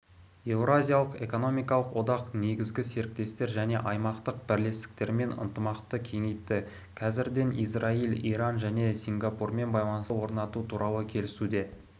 еуразиялық экономикалық одақ негізгі серіктестер және аймақтық бірлестіктермен ынтымақты кеңейтті қазірден израиль иран және сингапурмен байланыс орнату туралы келісілуде